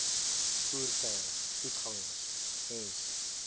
voertuie voetgangers ens